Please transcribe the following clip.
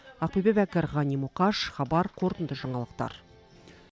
ақбөпе бәкір ғани мұқаш қорытынды жаңалықтар